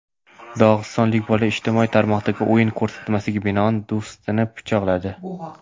Dog‘istonlik bola ijtimoiy tarmoqdagi o‘yin ko‘rsatmasiga binoan do‘stini pichoqladi.